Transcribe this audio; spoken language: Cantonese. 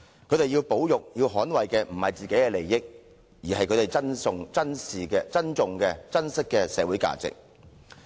他們要捍衞的不是自己的利益，而是他們珍惜的社會價值。